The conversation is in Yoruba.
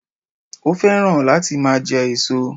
Ó fẹ́ràn láti máa je èso